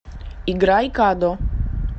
играй кадо